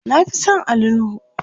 na Fi San Ali nuhu